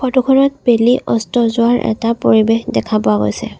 Photo খনত বেলি অস্ত যোৱাৰ এটা পৰিৱেশ দেখা পোৱা গৈছে।